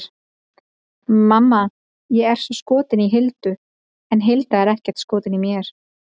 Mamma, ég er svo skotinn í Hildu en Hilda er ekkert skotin í mér!